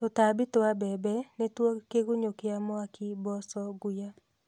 Tũtambi twa mbembe nĩtuo kĩgunyũ kĩa mwaki, mboca, nguya